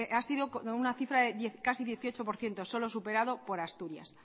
ha sido una cifra de casi el dieciocho por ciento solo superado por asturias